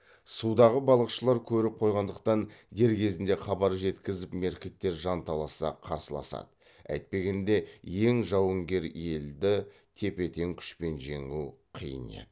судағы балықшылар көріп қойғандықтан дер кезінде хабар жеткізіп меркіттер жанталаса қарсыласады әйтпегенде ең жауынгер елді тепе тең күшпен жеңу қиын еді